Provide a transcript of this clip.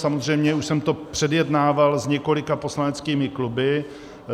Samozřejmě už jsem to předjednával s několika poslaneckými kluby.